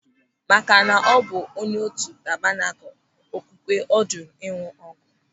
Makana ọ bụ onye otu Tabanakul Okwukwe ọ jụrụ ịñụ ọgwụ.